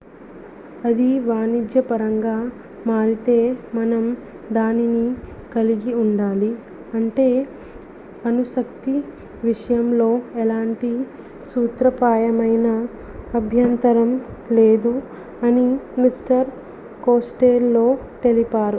"""""""అది వాణిజ్యపరంగా మారితే మనం దానిని కలిగి ఉండాలి. అంటే అణుశక్తివిషయంలో ఎలాంటి సూత్రప్రాయమైన అభ్యంతరం లేదు'' అని మిస్టర్ కోస్టెల్లో తెలిపారు.""